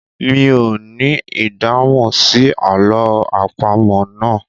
Mi ò ní ìdáhùn sí àlọ́ àpamọ̀ náà.